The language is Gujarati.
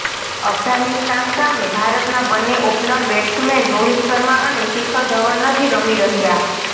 અફઘાનિસ્તાન સામે ભારતના બન્ને ઓપનર બેટ્સમેન રોહિત શર્મા અને શિખર ધવન નથી રમી રહ્યાં